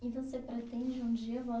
E você pretende um dia